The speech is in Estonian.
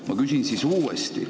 Ma küsin siis uuesti.